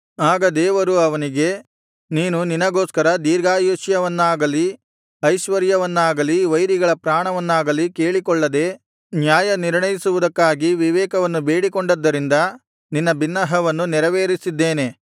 ಆಗ ದೇವರು ಅವನಿಗೆ ನೀನು ನಿನಗೋಸ್ಕರ ದೀರ್ಘಾಯುಷ್ಯವನ್ನಾಗಲೀ ಐಶ್ವರ್ಯವನ್ನಾಗಲಿ ವೈರಿಗಳ ಪ್ರಾಣವನ್ನಾಗಲಿ ಕೇಳಿಕೊಳ್ಳದೆ ನ್ಯಾಯನಿರ್ಣಯಿಸುವುದಕ್ಕಾಗಿ ವಿವೇಕವನ್ನು ಬೇಡಿಕೊಂಡದ್ದರಿಂದ ನಿನ್ನ ಬಿನ್ನಹವನ್ನು ನೆರವೇರಿಸಿದ್ದೇನೆ